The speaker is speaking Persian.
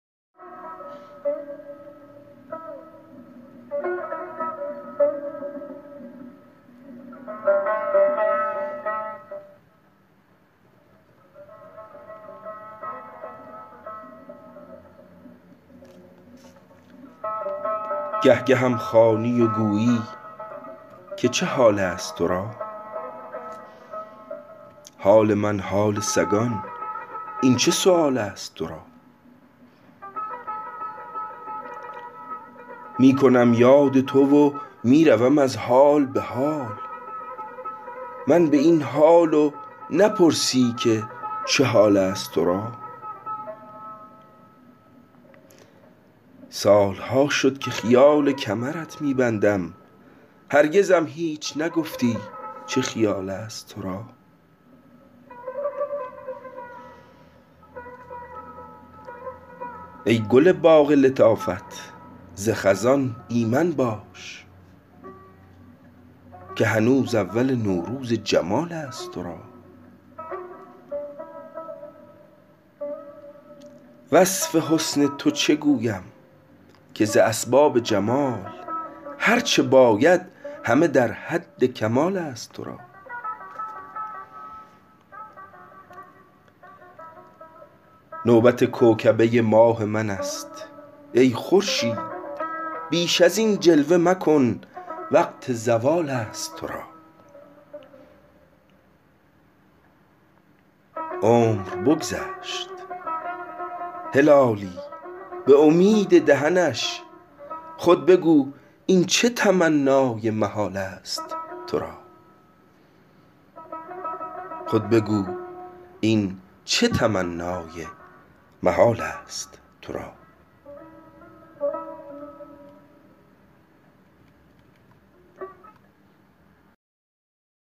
گه گهم خوانی و گویی که چه حالست ترا حال من حال سگان این چه سؤالست ترا می کنم یاد تو و میروم از حال بحال من باین حال و نپرسی که چه حالست ترا سالها شد که خیال کمرت می بندم هرگزم هیچ نگفتی چه خیالست ترا ای گل باغ لطافت ز خزان ایمن باش که هنوز اول نوروز جمالست ترا وصف حسن تو چه گویم که ز اسباب جمال هر چه باید همه در حد کمالست ترا نوبت کوکبه ماه منست ای خورشید بیش ازین جلوه مکن وقت زوالست ترا عمر بگذشت هلالی بامید دهنش خود بگو این چه تمنای محالست ترا